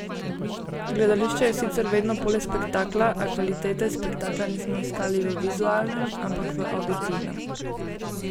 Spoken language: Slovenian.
Gledališče je sicer vedno polje spektakla, a kvalitete spektakla nismo iskali v vizualnem, ampak v avditivnem.